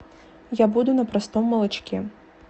я буду на простом молочке